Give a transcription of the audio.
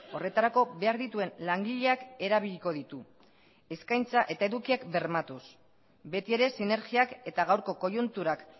horretarako behar dituen langileak erabiliko ditu eskaintza eta edukiak bermatuz beti ere sinergiak eta gaurko koiunturak